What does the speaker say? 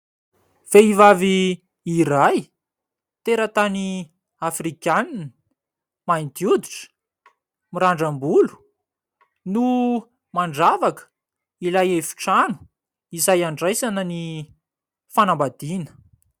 Vehivavy iray tera-tany afrikanina, mainty hoditra, mirandram-bolo no mandravaka ilay efitrano izay andraisana ny fanambadiana.